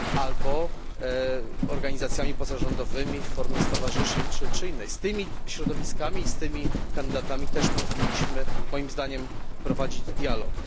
albo organizacjami pozarządowymi w formie stowarzyszeń czy innej. Z tymi środowiskami i z tymi kandydatami też powinniśmy moim zdaniem prowadzić dialog.